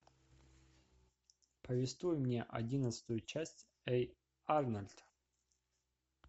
повествуй мне одиннадцатую часть эй арнольд